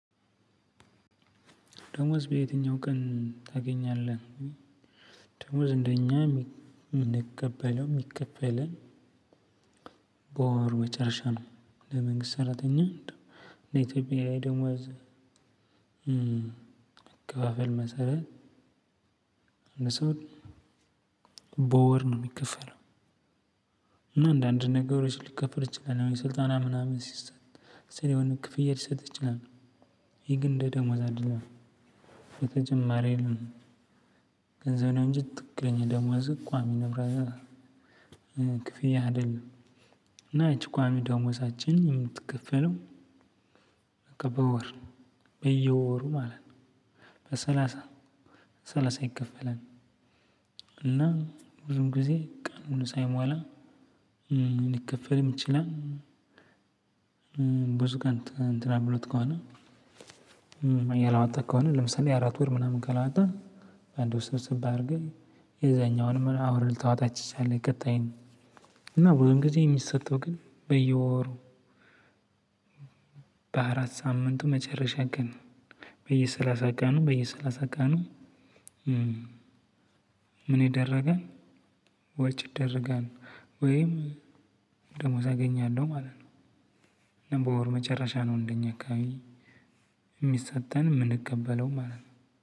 ደሞዝ በየትኛው ቀን ታገኛለህ? ደሞዝ እንደኛ የምንቀበለው የሚከፈለን በወር መጨረሻ ነው። ለመንግስት ሰራተኛ እንደው ኢትዮጵያ ላይ ደሞዝ አካፋፈል መሰረት በወር ነው የሚከፈለው። እና አንዳንድ ነገሮች ሊከፈሉ ይችላል ወይ ስልጠና ምናምን ሲሰጥ ስለሆነ ክፍያ ሊሰጥ ይችላል። ይሄ ግን እንደደሞዝ አይደለም። በተጨማሪ የለም። ገንዘብ ነው እንጂ ትክክለኛ ደሞዝ እቋሚ ንብረት ክፍያ አይደለም። እና የቺኳሚ ደሞዛችን የምትከፍለው በየወሩ ማለት ነው። በሰላሳ ሰላሳ ይከፈላል። እና ብዙም ጊዜ ቀን ሙሉ ሳይሞላ ሊከፈልም ይችላል። ብዙ ጋር እንትን አምልጦ ከሆነ። እያላወጣህ ከሆነ ለምሳሌ አራት ወር ምናምን ካላወጣህ አንድ ውስብስብ አድርገህ የዛኛውንም አውርለ ልታወጣ ትችላለህ። ቀጣይ እና ብዙን ጊዜ የሚሰጠው ግን በየወሩ። በአራት ሳምንቱ መጨረሻ ቀን በየሰላሳ ቀኑ በየሰላሳ ቀኑ። ምን ይደረጋል? ወጭ ይደረጋል ወይም ደሞዝ አገኛለሁ ማለት ነው በወር መጨረሻ ነው እንደኛ አካባቢ የሚሰጠን የምንቀበለው ማለት ነው